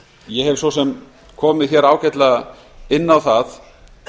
ég hef svo sem komið ágætlega inn á það